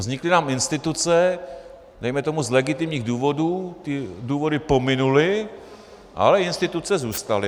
Vznikly nám instituce dejme tomu z legitimních důvodů, ty důvody pominuly, ale instituce zůstaly.